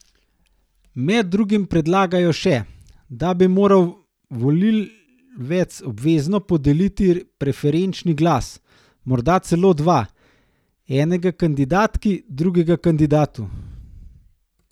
Med drugim predlagajo še, da bi moral volivec obvezno podeliti preferenčni glas, morda celo dva, enega kandidatki, drugega kandidatu.